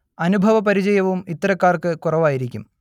അനുഭവ പരിചയവും ഇത്തരക്കാർക്ക് കുറവായിരിക്കും